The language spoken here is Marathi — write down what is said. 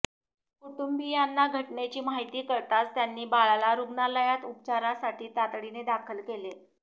कुटुंबीयांना घटनेची माहिती कळताच त्यांनी बाळाला रुग्णालायात उपचारासाठी तातडीने दाखल केले